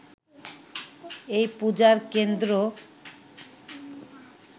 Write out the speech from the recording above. এই পূজার কেন্দ্র